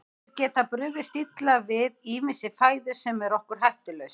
Þeir geta brugðist illa við ýmissi fæðu sem er okkur hættulaus.